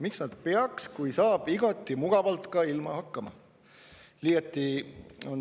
Miks nad peaksid, kui saab igati mugavalt ka ilma hakkama?